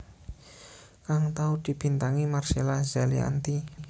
kang tau dibintangi Marcella Zalianty